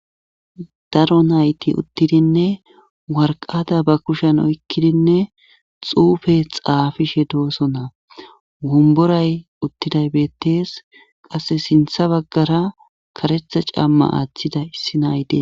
daro nayti uttidinne warqada ba kushen oykkidinne xuufe xaafishe doosona womboray uttiday beettes qasse sintha baggara karetha camma aaththida issi nay Des